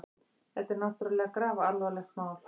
Þetta er náttúrlega grafalvarlegt mál.